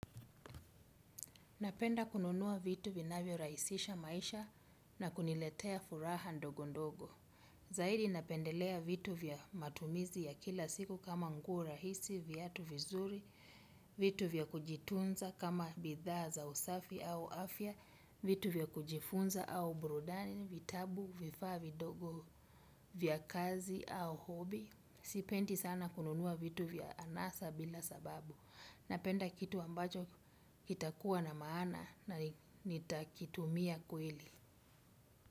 Napenda kununuwa vitu vinavyorahisisha maisha na kuniletea furaha ndogo ndogo. Zaidi napendelea vitu vya matumizi ya kila siku kama nguo rahisi, viatu vizuri, vitu vya kujitunza kama bidhaa za usafi au afya, vitu vya kujifunza au burudani, vitabu, vifaa vidogo vya kazi au hobi. Sipendi sana kununua vitu vya anasa bila sababu napenda kitu ambacho kitakuwa na maana na nitakitumia kweli.